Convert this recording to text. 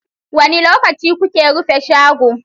Wani lokaci kuke rufe shago?